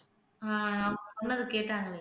ஆஹ் சொன்னது கேட்டாங்களே